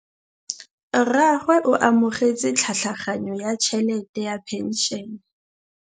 Rragwe o amogetse tlhatlhaganyô ya tšhelête ya phenšene.